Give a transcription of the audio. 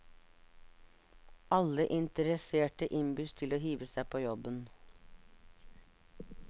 Alle interesserte innbys til å hive seg på jobben.